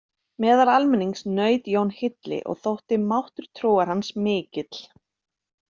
Meðal almennings naut Jón hylli og þótti máttur trúar hans mikill.